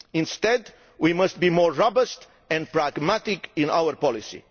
Instead we must be more robust and pragmatic in our policy.